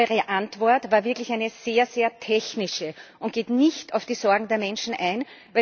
Aber Ihre Antwort war wirklich eine sehr technische und geht nicht auf die Sorgen der Menschen ein.